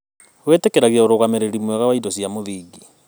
Wĩtĩkĩragia ũrũgamĩrĩri mwega wa indo cia mũthingi.